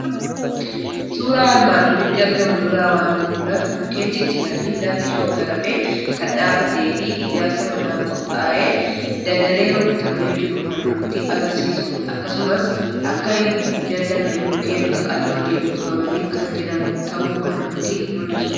Suuraa armaan olitti argamu irraa waanti mul'atu, mukeen ciccitanii lafti shoggoramee kan dhaabbateefi Ijaarsa manaaf qophaa'ee dagalee rukutamee jiru kan nutti agarsiisudha. Akkasumas akka hin hin jallanneed mukeen qaqal'ootin utubamani kan jiran ta'uu kan nutti mul'isudha.